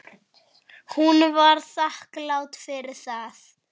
Hún var þakklát fyrir það.